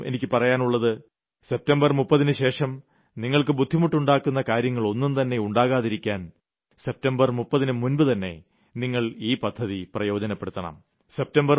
എന്റെ ജനങ്ങളോടും എനിയ്ക്ക് പറയാനുള്ളത് സെപ്റ്റംബർ 30ന് ശേഷം നിങ്ങൾക്ക് ബുദ്ധിമുട്ടുണ്ടാക്കുന്ന കാര്യങ്ങളൊന്നുംതന്നെ ഉണ്ടാകാതിരിക്കാൻ സെപ്റ്റംബർ 30ന് മുമ്പു തന്നെ നിങ്ങൾ ഈ പദ്ധതി പ്രയോജനപ്പെടുത്തണം